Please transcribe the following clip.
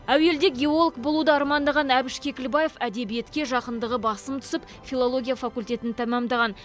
әуелде геолог болуды армандаған әбіш кекілбаев әдебиетке жақындығы басым түсіп филология факультетін тәмамдаған